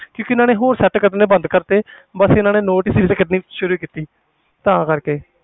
ਕਿਉਂਕਿ ਇਹਨਾਂ ਨੇ ਹੋਰ set ਕੱਢਣੇ ਬੰਦ ਕਰ ਦਿੱਤੇ ਬਸ ਇਹਨਾਂ ਨੇ note series ਕੱਢਣੀ ਸ਼ੁਰੂ ਕੀਤੀ ਤਾਂ ਕਰਕੇ